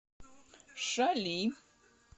шали